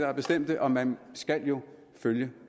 har bestemt det og man skal jo følge